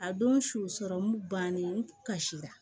A don su sɔrɔmu bannen n ka si la